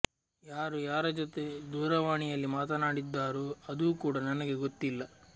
ಯಾರು ಯಾರ ಜೊತೆ ದೂರವಾಣಿಯಲ್ಲಿ ಮಾತನಾಡಿದ್ದಾರೋ ಅದು ಕೂಡ ನನಗೆ ಗೊತ್ತಿಲ್ಲ